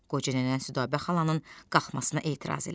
Qoca nənə Südabə xalanın qalxmasına etiraz elədi.